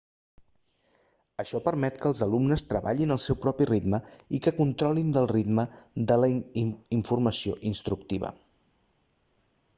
això permet que els alumnes treballin al seu propi ritme i que controlin del ritme de la informació instructiva